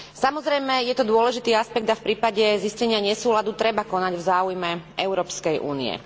Samozrejme, je to dôležitý aspekt a v prípade zistenia nesúladu treba konať v záujme Európskej únie.